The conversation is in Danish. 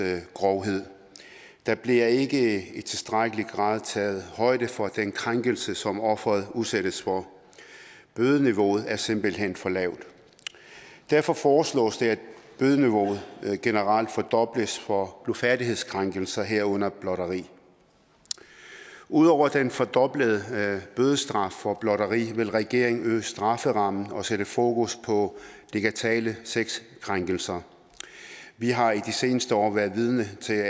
grovhed der bliver ikke i tilstrækkelig grad taget højde for den krænkelse som offeret udsættes for bødeniveauet er simpelt hen for lavt derfor foreslås det at bødeniveauet generelt fordobles for blufærdighedskrænkelser herunder blotteri ud over den fordoblede bødestraf for blotteri vil regeringen øge strafferammen og sætte fokus på digitale sexkrænkelser vi har i de seneste år været vidne til